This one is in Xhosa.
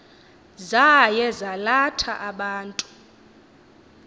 zaye zalatha abantu